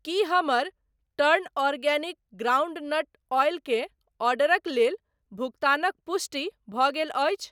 की हमर turn organic groundnut oil के ऑर्डरक लेल भुगतानक पुष्टि भऽ गेल अछि?